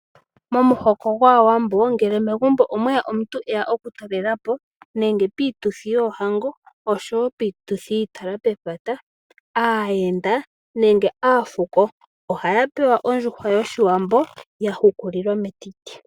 Momuhoko gwaawambo ngele megumbo omweya omuntu eya oku talela po nenge piituthi yoohango osho wo piituthi yiitala pepata aayenda nenge aafuko ohaya pewa ondjuhwa yoshiwambi ya hukuliwa metiti.